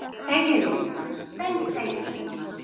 Þegiðu, Lúna, steinþegiðu, Lúna.